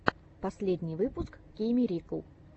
последний выпуск кейммирикл